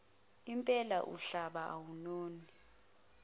impela umhlaba awunoni